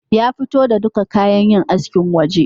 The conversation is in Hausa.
Ya fito da duka kayan yin askin waje